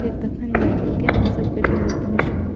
फेर तखन जाय करके हम सब कटिहार पहुंचलो।